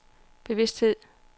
bevidsthed